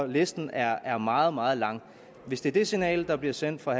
listen er er meget meget lang hvis det er det signal der bliver sendt fra